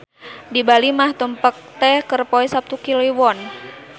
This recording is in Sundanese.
Di Bali mah tumpek teh keur poe Saptu Kliwon.